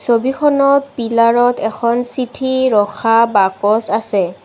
ছবিখনত পিলাৰ ত এখন চিঠি ৰখা বাকচ আছে।